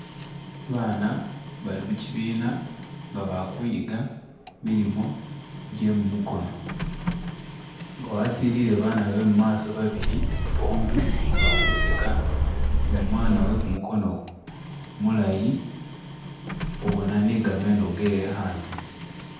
Abaana bali mukyibina nga bali kwiyiga milimo gye mumukono, nga wasilile abaana be mumaso babili bombi bali kuseka ni umwana we kumukono mulayi, ubona ni gameno gewe anze